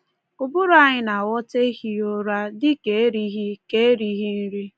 Ụbụrụ anyị na-aghọta ehighị ụra dị ka erighị ka erighị nri.